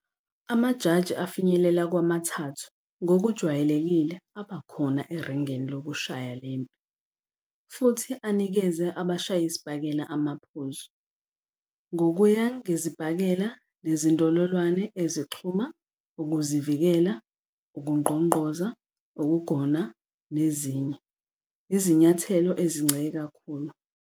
Amajaji afinyelela kwamathathu ngokujwayelekile abakhona eringini lokushaya le mpi futhi anikeze abashayisibhakela amaphuzu, ngokuya ngezibhakela nezindololwane ezixhuma, ukuzivikela, ukungqongqoza, ukugona nezinye, izinyathelo ezincike kakhulu.